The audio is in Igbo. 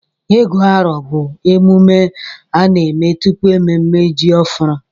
Ịgụ arọ bụ emume a na-eme tupu mmemme ji ọhụrụ.